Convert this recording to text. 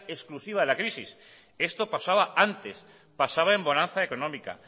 exclusiva de la crisis esto pasaba antes pasaba en bonanza económica